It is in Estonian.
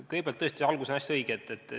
Kõigepealt, tõesti, algus on täiesti õige.